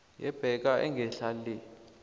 yebhaga engehla le